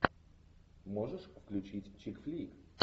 можешь включить чик флик